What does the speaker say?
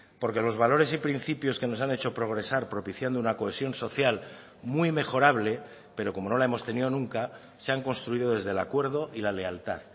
porque los valores y principios que nos han hecho progresar propiciando una cohesión social muy mejorable pero como no la hemos tenido nunca se han construido desde el acuerdo y la lealtad